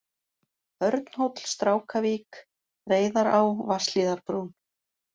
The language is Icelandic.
Örnhóll, Strákavik, Reyðará, Vatnshlíðarbrún